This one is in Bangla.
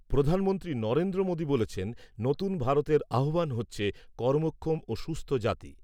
প্রধানমন্ত্রী নরেন্দ্র মোদি বলেছেন, নতুন ভারতের আহ্বান হচ্ছে কর্মক্ষম ও সুস্থ জাতি।